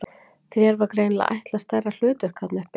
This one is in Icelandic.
Þér var greinilega ætlað stærra hlutverk þarna uppi!